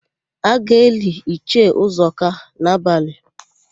A ga-eli Ichie Ụzọka n'abalị.